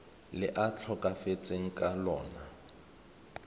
le a tlhokafetseng ka lona